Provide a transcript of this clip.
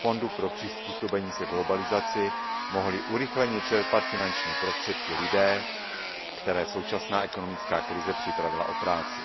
Fondu pro přizpůsobení se globalizaci mohli urychleně čerpat finanční prostředky lidé, které současná ekonomická krize připravila o práci.